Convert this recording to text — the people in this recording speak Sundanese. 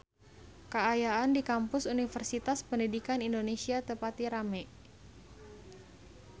Kaayaan di Kampus Universitas Pendidikan Indonesia teu pati rame